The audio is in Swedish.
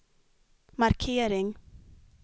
markering